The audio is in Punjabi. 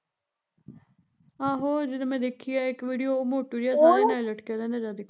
ਆਹੋ ਜਿਹੜੀ ਮੈਂ ਦੇਖੀ ਐ ਇੱਕ ਵੀਡੀਓ ਉਹ ਮੋਟੂ ਜਿਹਾ ਉਹਦੇ ਨਾਲ਼ ਲਟਕਿਆ ਰਹਿੰਦਾ ਜਦ ਮਰਜ਼ੀ ਦੇਖੋ